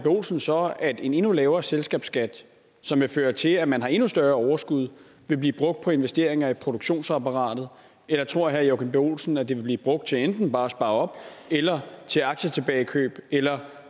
olsen så at en endnu lavere selskabsskat som vil føre til at man har endnu større overskud vil blive brugt på investeringer i produktionsapparatet eller tror herre joachim b olsen at det vil blive brugt til enten bare at spare op eller til aktietilbagekøb eller